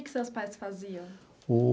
Que que seus pais faziam?